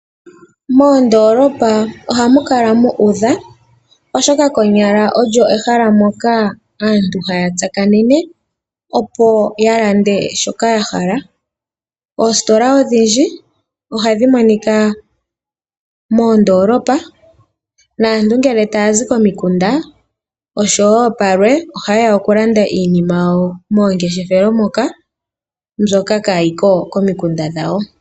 Moondoolopa ohamu kala mu udha, oshoka konyala omo mehala moka aantu haya tsakanene, opo ya lande shoka ya hala. Oositola odhindji ohadhi monika moondoolopa. Aantu ngele taya zi komikunda oshowo palwe ohaye ya okulanda iinima yawo momangeshefelo moka mbyoka kaayi ko komikunda dhawo.